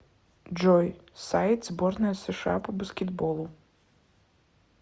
джой сайт сборная сша по баскетболу